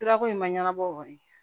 Sirako in ma ɲɛnabɔ